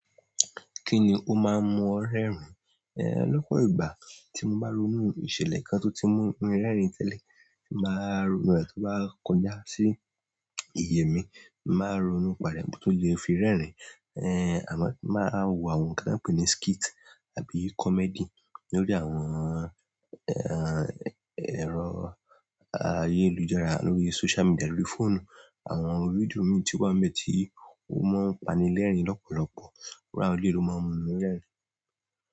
Kí ni o máa ń mu ọ rẹ́rìn? Eh, lọ́pọ̀ ìgbà tí mo bá ronú ìṣẹ̀lẹ̀ kan tó ti mú mi rẹ́rìn tẹ́lẹ̀, máa ronú ìwà tó bá kọjá sí ìyè mi, máa ronúpa rẹ̀ ohun tó lè fi rẹ́rìn. Eh, àmọ̀ máa wo àwọn ohun kí n pè ní skit àbí comedy lórí àwọn eh, ẹ̀rọ ayélujára, lórí social media, lórí fóònù. Àwọn fídíò mìíràn tí wá ń bẹ ti ó máa ń pani lẹ́rìn lọ́pọ̀lọpọ̀. Rárá olé ló máa ń mọ mí rẹ́rìn.